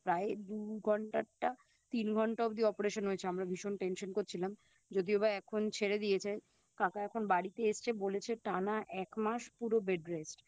প্রায় দু ঘন্টার টা তিন ঘন্টা অবধি Operation হয়েছে আমরা ভীষণ Tension করছিলাম যদিও বা এখন ছেড়ে দিয়েছে কাকা এখন বাড়িতে এসছে বলেছে টানা এক মাস পুরো Bed rest